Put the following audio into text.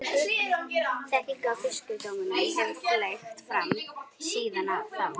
Þekkingu á fisksjúkdómum hefur fleygt fram síðan þá.